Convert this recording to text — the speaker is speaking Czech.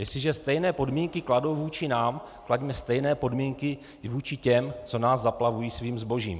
Jestliže stejné podmínky kladou vůči nám, klaďme stejné podmínky vůči těm, co nás zaplavují svým zbožím.